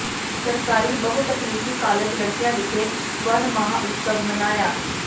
ਸਰਕਾਰੀ ਬਹੁਤਕਨੀਕੀ ਕਾਲਜ ਲੜਕੀਆਂ ਵਿਖੇ ਵਣ ਮਹਾਂ ਉਤਸਵ ਮਨਾਇਆ